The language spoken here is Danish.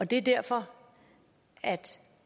det er derfor